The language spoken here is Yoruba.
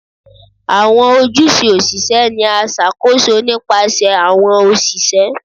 Awọn ojuse osise ni a ṣakoso nipasẹ awọn oṣiṣẹ